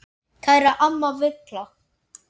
Kæra amma Villa.